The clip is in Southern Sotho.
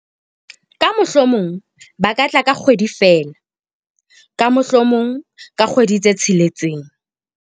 ka mohlomong ba ka tla ka kgwedi feela, ka mohlomong ka kgwedi tse tsheletseng